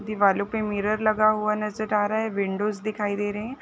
दीवारों पे मिरर लगा हुआ नज़र आ रहा है विंडोज दिखाई दे रहीं हैं।